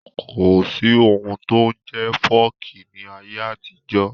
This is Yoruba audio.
Kò sí ohun tí ó ń jẹ́ fọ́ọ̀kì ní ayé àtijọ́